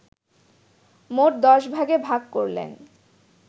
মোট দশ ভাগে ভাগ করলেন